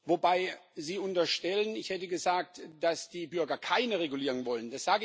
Wobei Sie unterstellen, ich hätte gesagt, dass die Bürger keine Regulierung wollen.